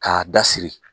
K'a da siri